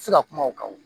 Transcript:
Se ka kuma o kan wo